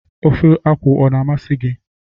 Ofe okwu ọ na-amasị di gị?